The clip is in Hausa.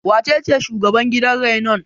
Wacece shugaban gidan rainon?